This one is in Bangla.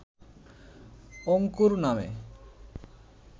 অঙ্কুর নামে